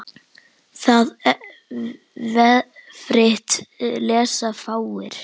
Það vefrit lesa fáir.